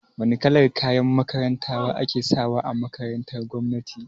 Wane kalan kayan makaranta ake sawa a makarantar gwamnati?